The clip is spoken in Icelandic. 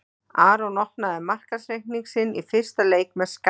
Aron opnaði markareikning sinn í fyrsta leik með skalla.